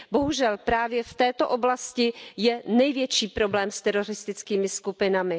Bohužel právě v této oblasti je největší problém s teroristickými skupinami.